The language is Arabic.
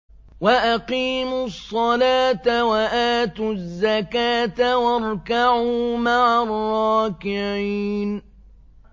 وَأَقِيمُوا الصَّلَاةَ وَآتُوا الزَّكَاةَ وَارْكَعُوا مَعَ الرَّاكِعِينَ